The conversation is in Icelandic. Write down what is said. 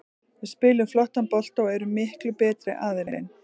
Við spilum flottan bolta og erum miklu betri aðilinn.